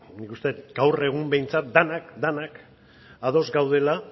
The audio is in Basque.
nik uste dut gaur egun behintzat denak denak ados gaudela